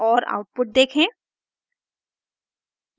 और आउटपुट देखें